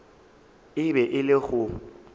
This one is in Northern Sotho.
e be e le go